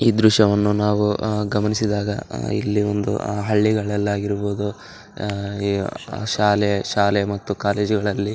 ಈ ದ್ರಶ್ಯವನ್ನು ನಾವು ಅಹ್ ಗಮನಿಸಿದಾಗ ಅಹ್ ಇಲ್ಲಿ ಒಂದು ಆಹ್ಹ್ ಹಳ್ಳಿಗಳಲ್ಲಾಗಿರಬಹುದು. ಅಹ್ ಶಾಲೆ ಶಾಲೆ ಮತ್ತು ಕಾಲೇಜು ಗಳಲ್ಲಿ.